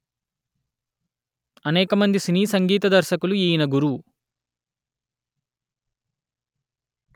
అనేకమంది సినీ సంగీత దర్శకులు ఈయన గురువు